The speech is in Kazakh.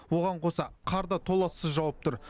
оған қоса қар да толассыз жауып тұр